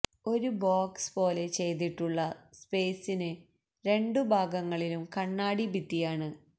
ഒരു ബോക്സ് പോലെ ചെയ്തിട്ടുള്ള സ്പേസിന് രണ്ടു ഭാഗങ്ങളിലും കണ്ണാടി ഭിത്തിയാണ്